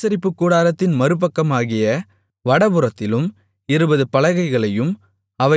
ஆசரிப்பு கூடாரத்தின் மறுபக்கமாகிய வடபுறத்திலும் இருபது பலகைகளையும்